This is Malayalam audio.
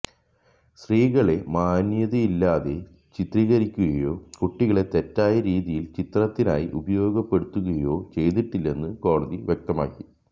സത്രീകളെ മാന്യതയില്ലാതെ ചിത്രീകരിക്കുകയോ കുട്ടികളെ തെറ്റായ രീതിയില് ചിത്രത്തിനായി ഉപയോഗപ്പെടുത്തുകയോ ചെയ്തിട്ടില്ലെന്നും കോടതി വ്യക്തമാക്കി